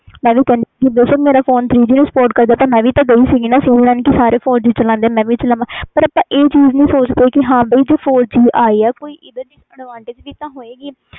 ਮੈਂ ਵੀ ਕਹਿਣੀ ਸੀ ਬੇਸ਼ੱਕ ਮੇਰਾ ਫੋਨ three G ਨੂੰ spot ਕਰਦਾ ਸੀ ਮੈਂ ਵੀ ਤੇ ਗਈ ਸੀ sim ਲੈਣ ਸਾਰੇ ਚਲਾਦੇ four G ਮੈਂ ਵੀ ਚਲਾਵਾਂ ਪਰ ਆਪਾ ਇਹ ਚੀਜ਼ ਨਹੀਂ ਸੋਚ ਦੇ ਕਿ ਇਹਦੇ disadvantages ਹੋਣ ਗਏ